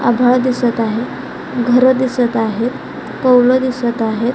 आभाळ दिसत आहे घर दिसत आहेत कौल दिसत आहेत.